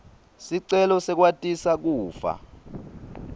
sicelo sekwatisa kufa